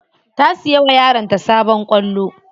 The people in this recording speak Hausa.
Ta siya wa yaranta sabon kwallo.